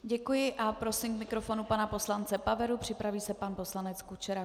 Děkuji a prosím k mikrofonu pana poslance Paveru, připraví se pan poslanec Kučera.